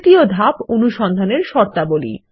তৃতীয় ধাপ অনুসন্ধান এর শর্তাবলী